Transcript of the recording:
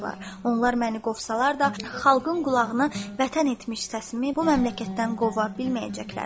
Onlar məni qovsalar da, xalqın qulağını vətən etmiş səsimi bu məmləkətdən qova bilməyəcəklər.